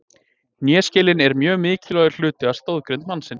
Hnéskelin er mjög mikilvægur hluti af stoðgrind mannsins.